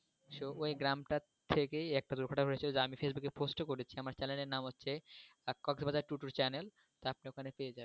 so ওই গ্রামটার থেকেই একটা দুর্ঘটনা ঘটেছিল যা আমি Facebook এ post ও করেছিলাম, আমার channel এর নাম হচ্ছে channel তহ আপনি ওখানে পেয়ে যাবেন।